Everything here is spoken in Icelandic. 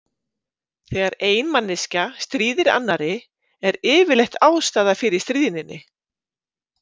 Þegar ein manneskja stríðir annarri, er yfirleitt ástæða fyrir stríðninni.